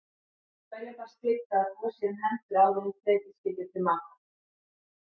Hverjum bar skylda að þvo sér um hendur áður en tekið skyldi til matar.